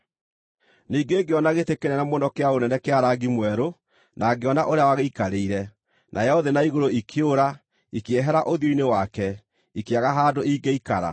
Ningĩ ngĩona gĩtĩ kĩnene mũno kĩa ũnene kĩa rangi mwerũ, na ngĩona ũrĩa wagĩikarĩire. Nayo thĩ na igũrũ ikĩũra, ikĩehera ũthiũ-inĩ wake, ikĩaga handũ ingĩikara.